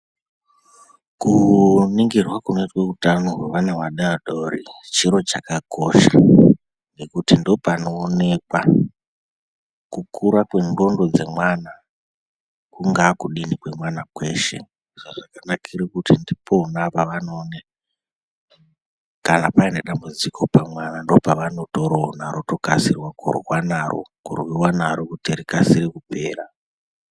Kuningirwa kunoitwe utano hwevana vadodori chiro chakakosha ngekuti ndopanoonekwa kukura kwendxondo dzemwana kungaa kudini kwemwana kweshe zvazvakanakire kuti ndipona pavanoone kana pane dambudziko pamwana ndopavanotoroona votokasire Kurwiwa naro kurwa naro rotokasire kupera.